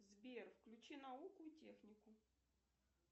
сбер включи науку и технику